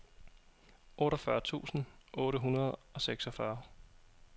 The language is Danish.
otteogfyrre tusind otte hundrede og seksogfyrre